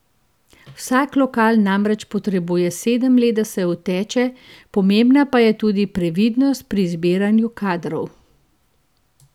Vsak lokal namreč potrebuje sedem let, da se uteče, pomembna pa je tudi previdnost pri izbiranju kadrov.